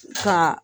Ka